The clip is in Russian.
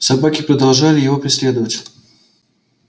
собаки продолжали его преследовать